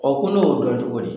Ɔ ko ne y'o dɔn cogo di?